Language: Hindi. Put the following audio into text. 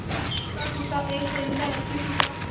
टूटा टूटा एक परिंदा ऐसे टूटा